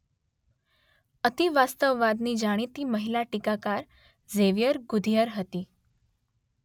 અતિવાસ્તવવાદની જાણીતી મહિલા ટીકાકાર ઝેવિયર ગુધીઅર હતી.